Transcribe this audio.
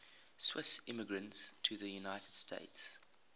swiss immigrants to the united states